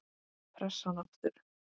Pressan aftur.